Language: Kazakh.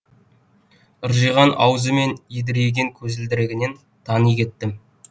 ыржиған ауызы мен едірейген көзілдірігінен тани кеттім